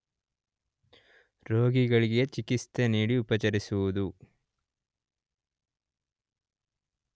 ರೋಗಿಗಳಿಗೆ ಚಿಕಿತ್ಸೆ ನೀಡಿ ಉಪಚರಿಸುವುದು